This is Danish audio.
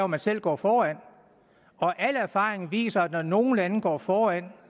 man selv gå foran og al erfaring viser at når nogle lande går foran